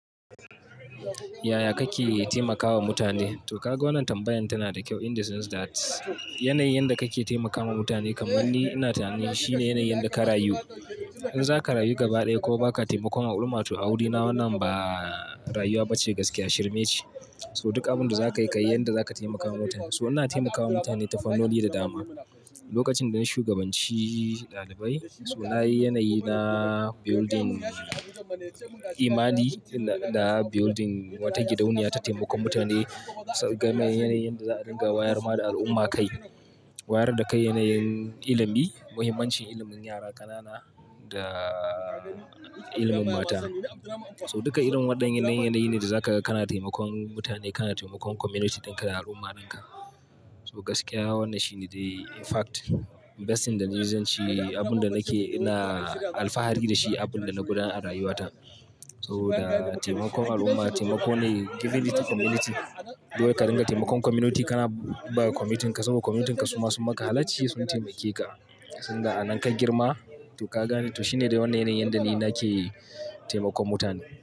Yaya kake taimakawa mutane? To ka ga wannan tambayan tana da kyau in the sense that yanayin yadda kake taimakawa mutane kamar ni ina tunanin shine yanayin da ka rayu. In zaka rayu gaba ɗaya ko baka taimakon al'umma to aure na wannan ba rayuwa bace gaskiya, shirme ce. So duk abin da zakayi kai yan da za ka taimakawa mutane. So ina taimakawa mutane ta fannoni da dama. Lokacin da ni shugabanci ɗalibai, so nayi yanayi na building imani da building wata gidauniya ta taimakon mutane. So game yanayin yadda za a ringa wayar ma da al'umma kai. Wayar da kai yanayin ilimi, muhimmancin ilimin yara ƙanana da ilimin mata. So duka irin waɗannan yanayin ne da zaka kana taimakon mutane, kana taimakon community dinka da al'umma dinka. So gaskiya wannan shine the in fact best thing that I've ever done shi abun da nake na alfahari da shi, abin da na guda a rayuwata. So da taimakon al'umma, taimako ne giving it to community. Dukai ka ringa taimakon community kana ba communityanka saboda communityanka su masu maka halacci sun taimake ka. Sun da anan ka girma to ka gane. To shine da wannan yanayin yanda ni nake taimakon mutane.